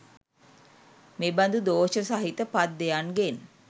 මෙබඳු දෝෂ සහිත පද්‍යයන්ගෙන්